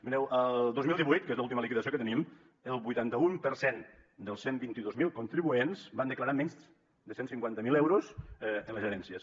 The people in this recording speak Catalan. mireu el dos mil divuit que és l’última liquidació que tenim el vuitanta un per cent dels cent i vint dos mil contribuents van declarar menys de cent i cinquanta miler euros en les herències